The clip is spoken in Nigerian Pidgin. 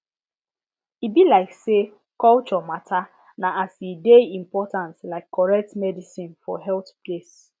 e be like say culture matter na as e dey important like correct medicine for health place